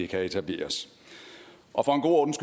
kan etableres og for god ordens